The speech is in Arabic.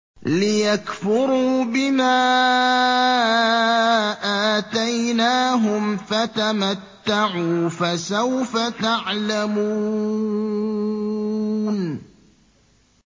لِيَكْفُرُوا بِمَا آتَيْنَاهُمْ ۚ فَتَمَتَّعُوا فَسَوْفَ تَعْلَمُونَ